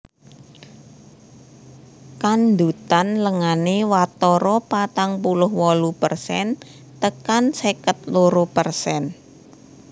Kandhutan lengané watara patang puluh wolu persen tekan seket loro persen